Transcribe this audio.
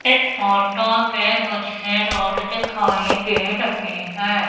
इस फोटो पे मुझे रोड दिखाएं दे रही हैं।